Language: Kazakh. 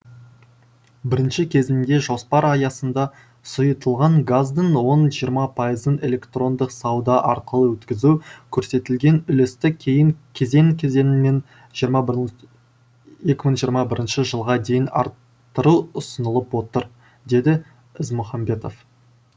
бірінші кезеңде жоспар аясында сұйытылған газдың он жиырма пайызын электрондық сауда арқылы өткізу көрсетілген үлесті кейін кезең кезеңмен жиырма бірін екі мың жиырма бірінші жылға дейін арттыру ұсынылып отыр деді ізмұхамбетов